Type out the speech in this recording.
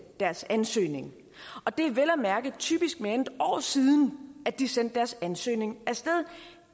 deres ansøgning og det er vel at mærke typisk mere end et år siden at de sendte deres ansøgning afsted